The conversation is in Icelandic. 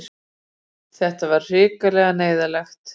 Þetta var hrikalega neyðarlegt.